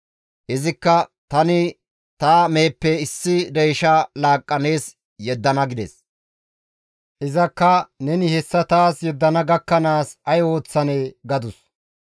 Izikka, «Tani ta meheppe issi deysha laaqqa nees yeddana» gides. Izakka, «Neni hessa taas yeddana gakkanaas ay oyththanee?» gadus.